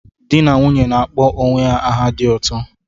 Di na nwunye na-akpọ onwe ha aha dị ụtọ